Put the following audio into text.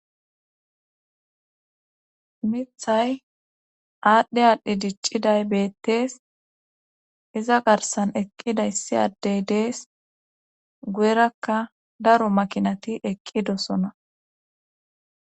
Mithay aadhdhe aadhdhi dicciday beettees iza garsan eqqida issi addey dees guyerakka daro makinati eqqidosona